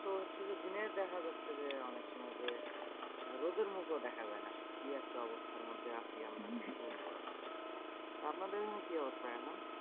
তো হচ্ছে যে দিনের দেখা যাচ্ছে যে, অনেকসময় যে রোদের মুখ ও দেখা যায়না। কি একটা অবস্থার মধ্যে আছি আমরা কি বলবো আর? তো আপনাদের ওখানে কি অবস্থা এখন?